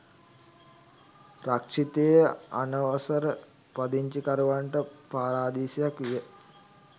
රක්‍ෂිතය අනවසර පදිංචිකරුවන්ට පාරාදීසයක් විය.